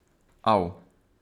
Av.